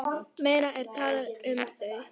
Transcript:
Meira er talað um þau.